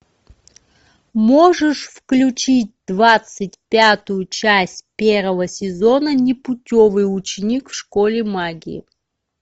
можешь включить двадцать пятую часть первого сезона непутевый ученик в школе магии